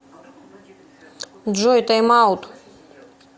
джой тайм аут